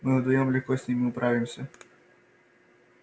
мы вдвоём легко с ними управимся